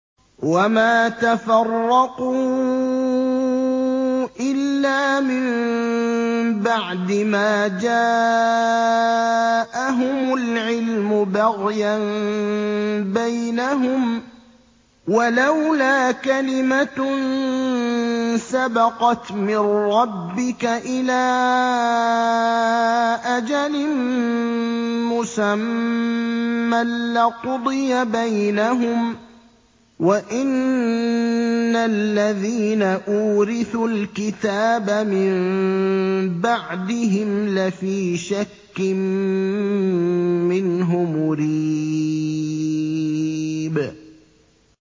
وَمَا تَفَرَّقُوا إِلَّا مِن بَعْدِ مَا جَاءَهُمُ الْعِلْمُ بَغْيًا بَيْنَهُمْ ۚ وَلَوْلَا كَلِمَةٌ سَبَقَتْ مِن رَّبِّكَ إِلَىٰ أَجَلٍ مُّسَمًّى لَّقُضِيَ بَيْنَهُمْ ۚ وَإِنَّ الَّذِينَ أُورِثُوا الْكِتَابَ مِن بَعْدِهِمْ لَفِي شَكٍّ مِّنْهُ مُرِيبٍ